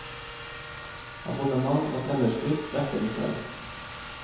Abonnement og tellerskritt dekker de selv.